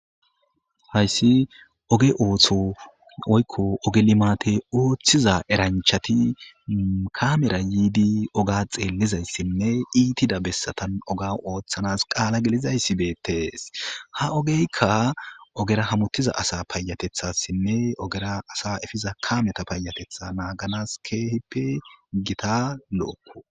hayssi oge ooththo oykko ogelimaate ooththiza eranchati kamera yiidi oga xeellizayssinne iitida bessatan oga ooththanas qaala gelizayssibeetees ha ogeykka ogera hamutiza asa payatethassinne ogera asa efiza kameta payatetha naaganas keehippe gita lo7okko